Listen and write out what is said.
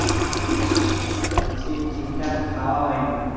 ঠিক ঠাক খাওয়া হয় না